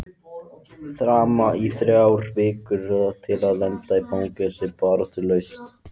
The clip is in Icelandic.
Þramma í þrjár vikur til að lenda í fangelsi baráttulaust?